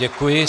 Děkuji.